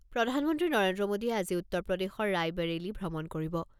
প্ৰধানমন্ত্ৰী নৰেন্দ্ৰ মোদীয়ে আজি উত্তৰ প্ৰদেশৰ ৰাইবেৰেলি ভ্ৰমণ কৰিব।